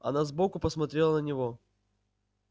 она сбоку посмотрела на него